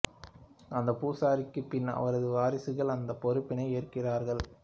அந்த பூசாரிக்குப் பின் அவரது வாரிசுகள் அந்தப் பொறுப்பினை ஏற்கின்றார்கள்